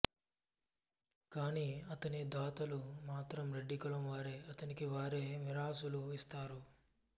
కాని అతని దాతలు మాత్రం రెడ్డి కులం వారే అతనికి వారే మిరాసులు ఇస్తారు